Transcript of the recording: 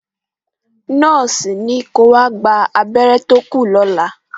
Nọ́ọ̀sì ní ko wá gba abẹ́rẹ́ tó kù lọ́la.